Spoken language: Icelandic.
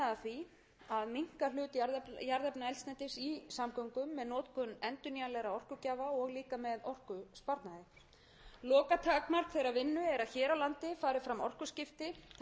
í samgöngum með notkun endurnýjanlegra orkugjafa og líka með orkusparnaði lokatakmark þeirrar vinnu er að hér á landi fari fram orkuskipti þar sem jarðefnaeldsneyti verði leyst af hólmi með innlendum